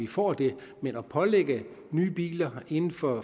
får det men at pålægge at nye biler inden for